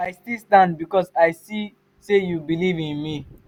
i still stand because i see sey you beliv in me.